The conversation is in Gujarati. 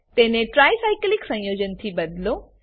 તેને ટ્રાયસાયકલિક સંયોજનથી બદલો